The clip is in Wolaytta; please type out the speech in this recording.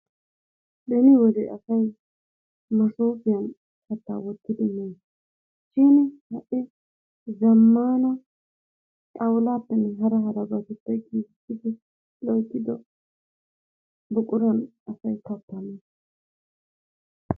Beni wode asay masoofiyan kattaa wottidi mees. Shin ha'i zammaana xawulaappenne hara harabbatuppe gigiisidi loyttido buquran asay kattaa mees.